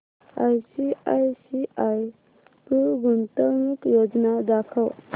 ICICI Pru गुंतवणूक योजना दाखव